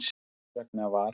Þess vegna var